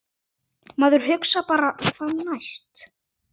Maður hugsar bara hvað næst?!